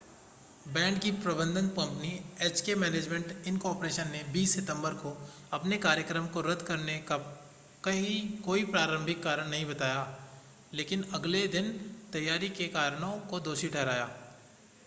band की प्रबंधन company HK management incorporation ने 20 सितंबर को अपने कार्यक्र्म को रद्द करने का कोई प्रारंभिक कारण नहीं बताया लेकिन अगले दिन तैयारी के कारणों को दोषी ठहराया